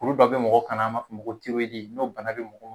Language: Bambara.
Olu dɔw be mɔgɔ kan na an b'a f'o ma ko tiyoridi n'o bana be mɔgɔ